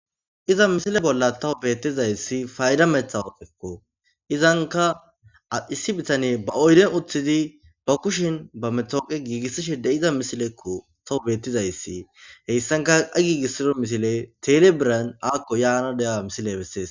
Iza misile bolla tawo beettizayssi fayda metha woophekko izanka addhissi bitane ba oyden uththidi ba kushin ba metooqe giigissishe de iza misilekko tawo bettizayssi heyssanka a giigissido misile telebiran akko yaana deya misile bessees.